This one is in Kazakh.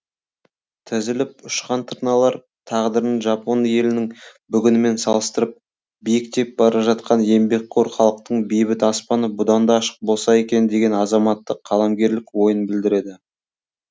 тізіліп ұшқан тырналар тағдырын жапон елінің бүгінімен салыстырып биіктеп бара жатқан еңбекқор халықтың бейбіт аспаны бұдан да ашық болса екен деген азаматтық қаламгерлік ойын білдіреді